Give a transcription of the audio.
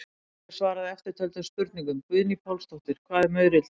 Hér er svarað eftirtöldum spurningum: Guðný Pálsdóttir: Hvað er maurildi?